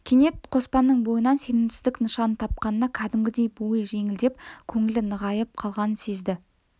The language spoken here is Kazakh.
кенет қоспанның бойынан сенімсіздік нышанын тапқанына кәдімгідей бойы жеңілдеп көңілі нығайып қалғанын сезді